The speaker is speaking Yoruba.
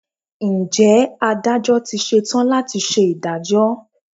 Ǹjẹ́ Adájọ́ ti ṣe tán láti ṣe ìdájọ́?